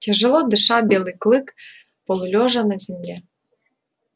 тяжело дыша белый клык полулежал на земле